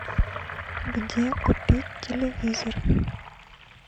где купить телевизор